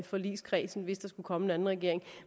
forligskredsen hvis der skulle komme en anden regering